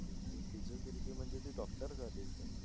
physiotherapy म्हणजे ती doctor झाली sir